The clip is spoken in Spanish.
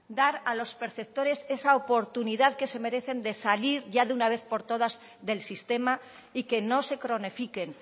dar a los perceptores esa oportunidad que se merecen de salir de una vez por todas del sistema y que no se cronifiquen